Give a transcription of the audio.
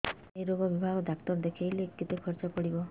ସେଇ ରୋଗ ବିଭାଗ ଡ଼ାକ୍ତର ଦେଖେଇଲେ କେତେ ଖର୍ଚ୍ଚ ପଡିବ